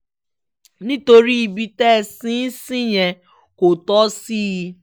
nítorí ibi tẹ́ ẹ sin ín sí yẹn kò tọ́ sí i